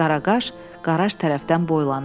Qaraqaş qaraj tərəfdən boylanırdı.